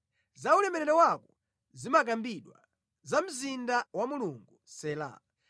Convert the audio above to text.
Za ulemerero wako zimakambidwa, Iwe mzinda wa Mulungu: Sela